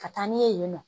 Ka taa n'u ye yen nɔ